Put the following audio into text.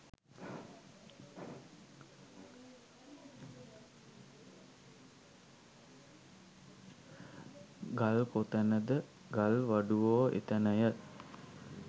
ගල් කොතැනද ගල්වඩුවෝ එතැනය